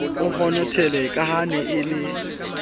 o honothele ka ha ke